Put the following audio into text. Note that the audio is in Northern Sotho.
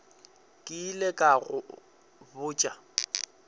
ke ile ka go botša